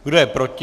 Kdo je proti?